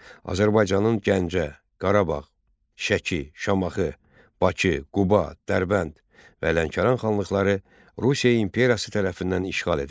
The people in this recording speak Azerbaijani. Azərbaycanın Gəncə, Qarabağ, Şəki, Şamaxı, Bakı, Quba, Dərbənd və Lənkəran xanlıqları Rusiya imperiyası tərəfindən işğal edildi.